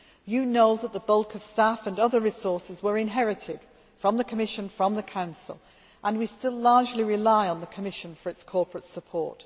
given us. You know that the bulk of staff and other resources were inherited from the Commission, from the Council, and we still largely rely on the Commission for its corporate